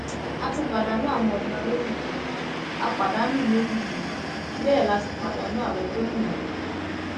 a ti pàdánù àwọn ọnà rélùwéè a pàdánù rélùwéè bẹẹ la sì pàdánù àwọn tó ń wá a